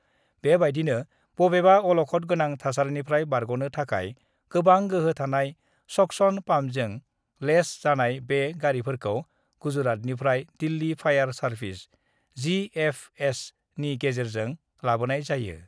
बेबायदिनो बबेबा अलखद गोनां थासारिनिफ्राय बारग'नो थाखाय गोबां गोहो थानाय साक्शन पाम्पजों लेस जानाय बे गारिफोरखौ गुजरातनिफ्राय दिल्‍ली फायार सार्भिसेस (जिएफएस) नि गेजेरजों लाबोनाय जायो।